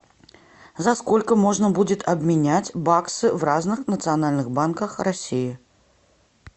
за сколько можно будет обменять баксы в разных национальных банках россии